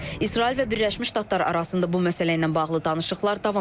İsrail və Birləşmiş Ştatlar arasında bu məsələylə bağlı danışıqlar davam edir.